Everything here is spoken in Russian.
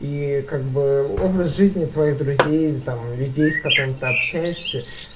и как бы образ жизни твоих друзей там людей с которыми ты общаешься